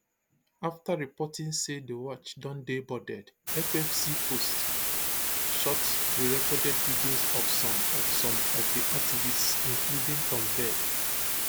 after reporting say di yacht don dey boarded ffc post short prerecorded videos of some of some of di activists including thunberg